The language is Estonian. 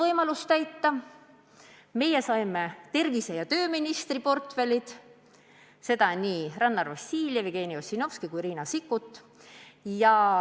Oleme saanud tervise- ja tööministri portfelli, mida on hoidnud Rannar Vassiljev, Jevgeni Ossinovski ja Riina Sikkut.